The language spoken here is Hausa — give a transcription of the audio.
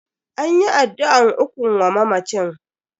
An yi addu'an ukun wa mamacin.